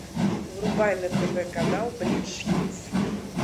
врубай на тв канал бридж хитс